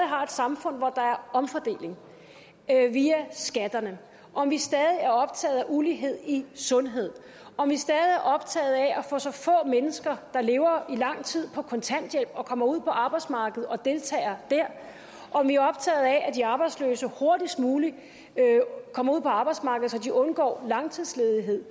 har et samfund hvor der er omfordeling via skatterne om vi stadig er optaget af ulighed i sundhed om vi stadig er optaget af at mennesker der lever i lang tid på kontanthjælp kommer ud på arbejdsmarkedet og deltager der og om vi er optaget af at de arbejdsløse hurtigst muligt kommer ud på arbejdsmarkedet så de undgår langtidsledighed